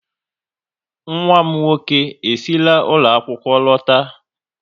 Nwa m nwoke e sira ụlọ akwụkwọ lọta